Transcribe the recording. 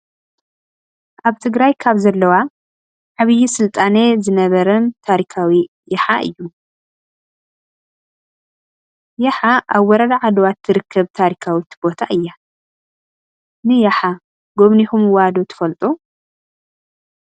ኣብ ትግራይ ካብ ዘለዋ ዓብዩ ስልጣነ ዝነበረንታሪካዊ ራሓ እዩ:: የሓ ኣብ ወረዳ ዓድዋ ትርከብ ታሪካዊት ቦታ እያ::ንያሓ ጎብኒኩምዋ ዶ ትፈልጡ ?